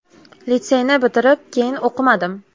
Litseyni bitirib, keyin o‘qimadim.